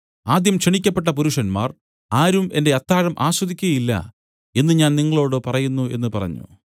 ആദ്യം ക്ഷണിക്കപ്പെട്ട പുരുഷന്മാർ ആരും എന്റെ അത്താഴം ആസ്വദിക്കയില്ല എന്നു ഞാൻ നിങ്ങളോടു പറയുന്നു എന്നു പറഞ്ഞു